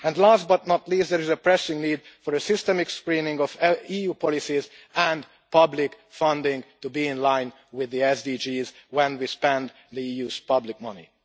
Last but not least, there is a pressing need for systemic screening of EU policies and public funding to be in line with the SDGs when we spend the EU's public money.